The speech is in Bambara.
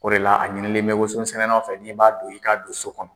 O de la a ɲinilen bɛ wososɛnɛlaw fɛ n'i b'a don i ka don so kɔnɔ.